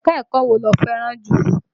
Ẹ̀ka-ẹ̀kọ́ wo lo fẹ́ràn jù?